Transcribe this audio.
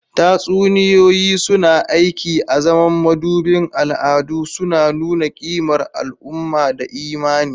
Tatsuniyoyi suna aiki azaman madubin al'adu, suna nuna kimar al'umma da imani.